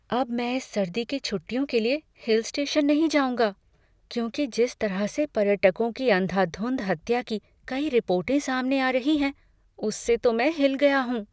अब मैं इस सर्दी की छुट्टियों के लिए हिल स्टेशन नहीं जाऊँगा, क्योंकि जिस तरह से पर्यटकों की अंधाधुंध हत्या की कई रिपोर्टों सामने आ रही हैं उससे तो मैं हिल गया हूँ।